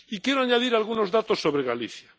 Y quiero añadir algunos datos sobre Galicia.